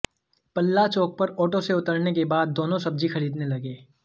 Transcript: पल्ला चौक पर ऑटो से उतरने के बाद दोनों सब्जी खरीदने लगे